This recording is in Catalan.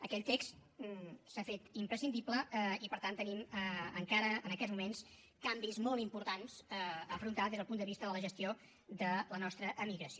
aquell text s’ha fet imprescindible i per tant tenim encara en aquests moments canvis molt importants a afrontar des del punt de vista de la gestió de la nostra emigració